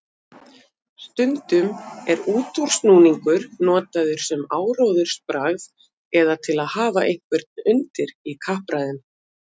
Stundum er útúrsnúningur notaður sem áróðursbragð eða til að hafa einhvern undir í kappræðum.